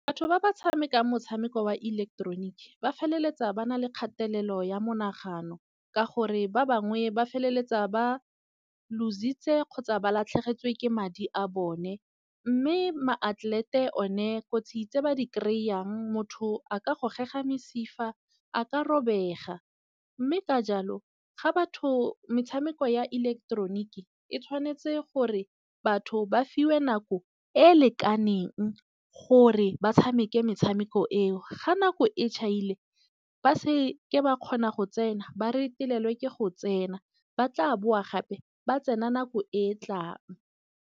Batho ba ba tshamekang motshameko wa ileketeroniki ba feleletsa ba nale kgatelelo ya monagano, ka gore ba bangwe ba feleletsa ba lositse kgotsa ba latlhegetswe ke madi a bone. Mme maatlelete one kotsi tse ba di kry-ang motho a ka gogega mesifa, a ka robega. Mme ka jalo ga batho metshameko ya ileketeroniki e tshwanetse gore batho ba fiwe nako e e lekaneng, gore ba tshameke metshameko eo. Ga nako e chaile ba seke ba kgona go tsena, ba retelelwe ke go tsena ba tla boa gape ba tsena nako e e tlang.